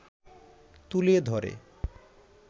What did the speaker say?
তুলে ধরে